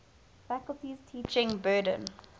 faculty's teaching burden